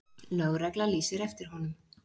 Lögregla lýsir eftir honum.